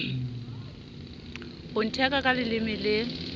ho ntheka ka leleme le